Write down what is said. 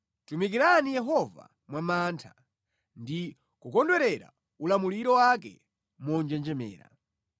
Tumikirani Yehova mwa mantha ndi kukondwerera ulamuliro wake monjenjemera.